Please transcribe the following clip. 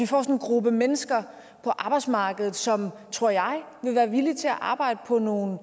få en gruppe mennesker på arbejdsmarkedet som tror jeg vil være villige til at arbejde på nogle